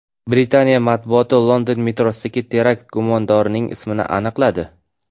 Britaniya matbuoti London metrosidagi terakt gumondorining ismini aniqladi.